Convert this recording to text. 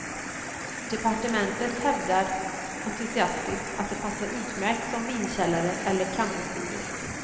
Departementet hävdar entusiastiskt att de passar utmärkt som vinkällare eller campingstugor.